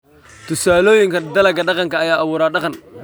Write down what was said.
Tusaalooyinka Dalagga Dhaqanka ayaa abuura dhaqan.